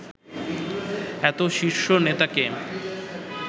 এত শীর্ষ নেতাকে